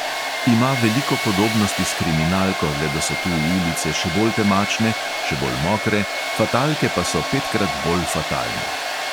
Ima veliko podobnosti s kriminalko, le da so tu ulice še bolj temačne, še bolj mokre, fatalke pa so petkrat bolj fatalne.